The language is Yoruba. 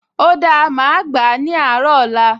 O dáa, màá gbà á ní àárọ̀ ọ̀la